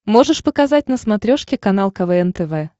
можешь показать на смотрешке канал квн тв